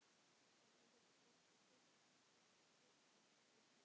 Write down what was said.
Hvernig getur fólk styrkt ykkur?